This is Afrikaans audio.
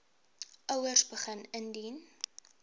ouers begin indien